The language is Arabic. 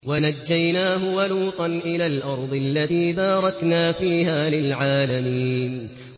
وَنَجَّيْنَاهُ وَلُوطًا إِلَى الْأَرْضِ الَّتِي بَارَكْنَا فِيهَا لِلْعَالَمِينَ